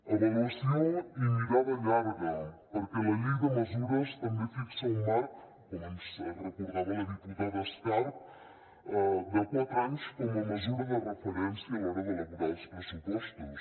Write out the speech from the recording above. avaluació i mirada llarga perquè la llei de mesures també fixa un marc com ens recordava la diputada escarp de quatre anys com a mesura de referència a l’hora d’elaborar els pressupostos